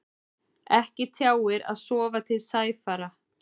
Ekki tjáir að sofa til sæfara.